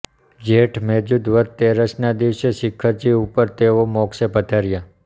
જેઠ મેજૂન વદ તેરસના દિવસે શિખરજી ઉપર તેઓ મોક્ષે પધાર્યા